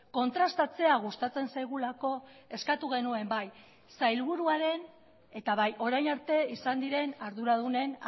kontrastatzea gustatzen zaigulako eskatu genuen bai sailburuaren eta bai orain arte izan diren arduradunen